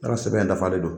Ne ka sɛbɛn dafalen don